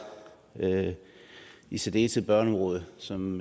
i særdeleshed børneområdet som